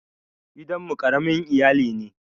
Gidan mu ƙaramin iyali ne.